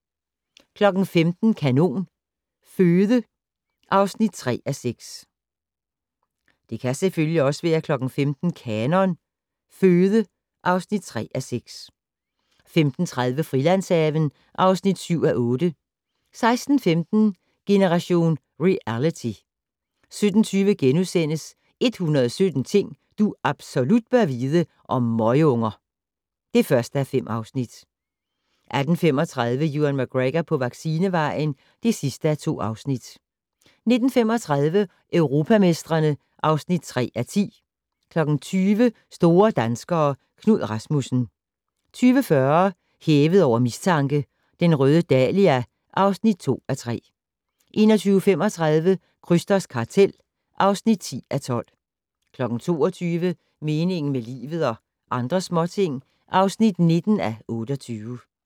15:00: Kanon Føde (3:6) 15:30: Frilandshaven (7:8) 16:15: Generation Reality 17:20: 117 ting du absolut bør vide - om møgunger (1:5)* 18:35: Ewan McGregor på vaccinevejen (2:2) 19:35: Europamestrene (3:10) 20:00: Store danskere - Knud Rasmussen 20:40: Hævet over mistanke: Den røde dahlia (2:3) 21:35: Krysters kartel (10:12) 22:00: Meningen med livet - og andre småting (19:28)